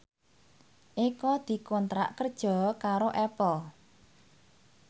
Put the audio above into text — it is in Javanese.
Eko dikontrak kerja karo Apple